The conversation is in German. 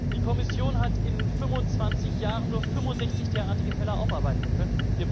Die Kommission hat in 25 Jahren nur 65 derartige Fälle aufarbeiten können.